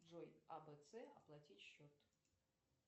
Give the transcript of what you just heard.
джой абц оплатить счет